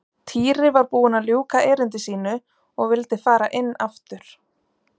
Týri var búinn að ljúka erindi sínu og vildi fara inn aftur.